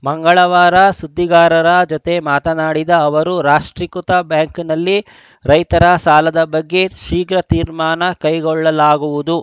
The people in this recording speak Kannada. ಮಂಗಳವಾರ ಸುದ್ದಿಗಾರರ ಜತೆ ಮಾತನಾಡಿದ ಅವರು ರಾಷ್ಟ್ರೀಕೃತ ಬ್ಯಾಂಕ್‌ನಲ್ಲಿ ರೈತರ ಸಾಲದ ಬಗ್ಗೆ ಶೀಘ್ರ ತೀರ್ಮಾನ ಕೈಗೊಳ್ಳಲಾಗುವುದು